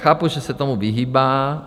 Chápu, že se tomu vyhýbá.